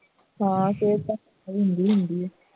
ਮੌਨ ਸਿਹਤ ਖਰਾਬ ਹੁੰਦੀ ਹੀ ਹੁੰਦੀ ਹੈ